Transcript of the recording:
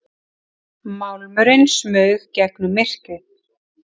Málmurinn smaug gegnum myrkrið.